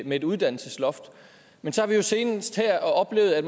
med et uddannelsesloft men så har vi jo senest her oplevet at